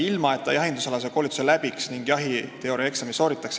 ilma et ta jahindusalase koolituse läbiks ning jahiteooriaeksami sooritaks.